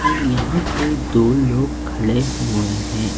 और यहां पे दो लोग खड़े हुए हैं।